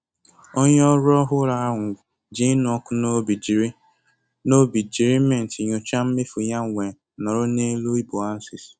Onye ọrụ ọhụrụ ahụ ji ịnụ ọkụ n'obi jiri n'obi jiri Mint nyochaa mmefu ya wee nọrọ n'elu iboances.